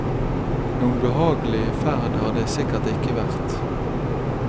Noen behagelig ferd har det sikkert ikke vært.